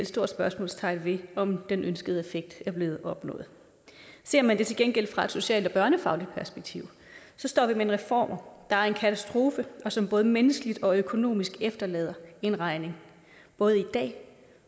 stort spørgsmålstegn ved om den ønskede effekt er blevet opnået ser man det til gengæld fra et socialt og børnefagligt perspektiv står vi med reformer der er en katastrofe og som både menneskeligt og økonomisk efterlader en regning både i dag